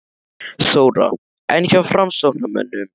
Þóra: En hjá framsóknarmönnum?